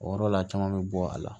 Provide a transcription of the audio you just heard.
O yɔrɔ la caman be bɔ a la